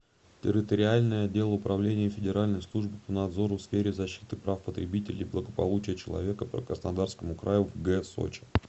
территориальный отдел управления федеральной службы по надзору в сфере защиты прав потребителей и благополучия человека по краснодарскому краю в г сочи